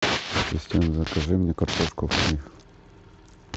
ассистент закажи мне картошку фри